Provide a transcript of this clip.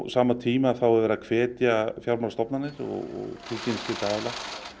sama tíma er verið að hvetja fjármálastofnanir og tilkynningaskylda aðila